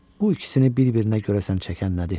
Bu ikisini bir-birinə görəsən çəkən nədir?